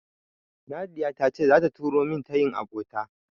Nadiya ta ce zata turo min tayin abota.